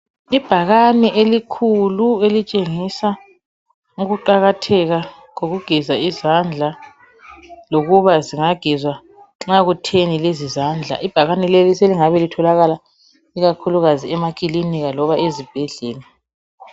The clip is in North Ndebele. Ibhakane elikhulu elitshengisa ukuqakatheka kokugeza izandla lokuba zingahezwa nca kutheni lezi zandla ibhakane leli selingabe litholakala emaklinika lezibhedlela